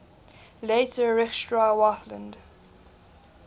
later reichsgau wartheland